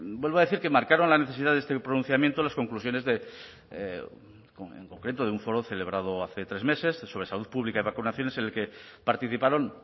vuelvo a decir que marcaron la necesidad de este pronunciamiento las conclusiones en concreto de un foro celebrado hace tres meses sobre salud pública y vacunaciones en el que participaron